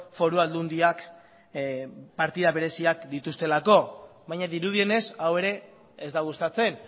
foru aldundiak partida bereziak dituztelako baina dirudienez hau ere ez da gustatzen